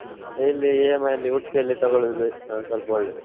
ಹ್ಮ್‌ ಇಲ್ಲಿ EMI ಅಲ್ಲಿ Udupi ಅಲ್ಲಿ ತಗೊಳ್ಳುದು ಸ್ವಲ್ಪ ಒಳ್ಳೇದು.